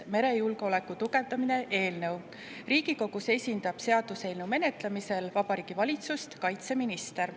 Seaduseelnõu menetlemisel Riigikogus esindab Vabariigi Valitsust kaitseminister.